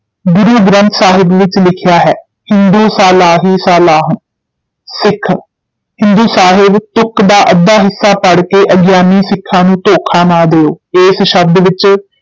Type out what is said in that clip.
ਗੁਰੂ ਗ੍ਰੰਥ ਸਾਹਿਬ ਵਿੱਚ ਲਿਖਿਆ ਹੈ, ਹਿੰਦੂ ਸਾਲਾਹੀ ਸਾਲਾਹਨਿ, ਸਿੱਖ ਹਿੰਦੂ ਸਾਹਿਬ ਤੁਕ ਦਾ ਅੱਧਾ ਹਿੱਸਾ ਪੜ੍ਹ ਕੇ ਅਗਿਆਨੀ ਸਿੱਖਾਂ ਨੂੰ ਧੋਖਾ ਨਾ ਦਿਓ, ਇਸ ਸ਼ਬਦ ਵਿਚ